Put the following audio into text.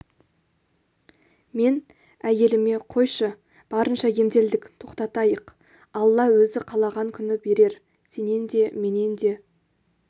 мен әйеліме қойшы барынша емделдік тоқтатайық алла өзі қалаған күні берер сенен де менен де